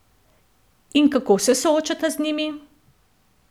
In kako se soočata z njimi?